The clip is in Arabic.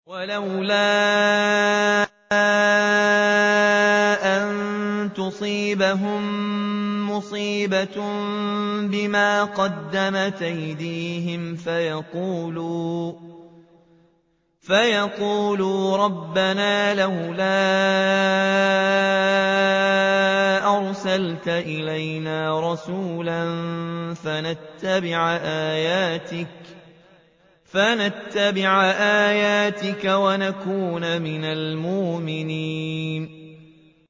وَلَوْلَا أَن تُصِيبَهُم مُّصِيبَةٌ بِمَا قَدَّمَتْ أَيْدِيهِمْ فَيَقُولُوا رَبَّنَا لَوْلَا أَرْسَلْتَ إِلَيْنَا رَسُولًا فَنَتَّبِعَ آيَاتِكَ وَنَكُونَ مِنَ الْمُؤْمِنِينَ